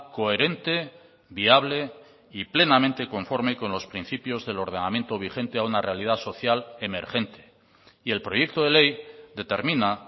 coherente viable y plenamente conforme con los principios del ordenamiento vigente a una realidad social emergente y el proyecto de ley determina